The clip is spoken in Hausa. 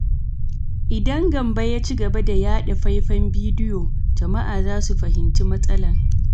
Idan Gambo ya ci gaba da yaɗa faifan bidiyo, jama’a za su fahimci matsalar.